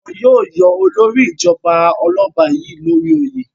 Wọn yóò yọ olórí ìjọba ọlọ́ba yìí l'ori oyè.